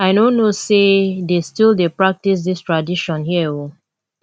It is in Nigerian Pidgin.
i no know say dey still dey practice dis tradition here oo